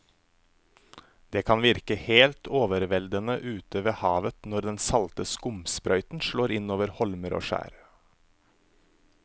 Det kan virke helt overveldende ute ved havet når den salte skumsprøyten slår innover holmer og skjær.